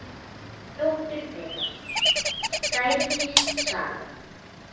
Dóttir þeirra: Sædís Saga.